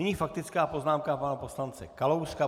Nyní faktická poznámka pana poslance Kalouska.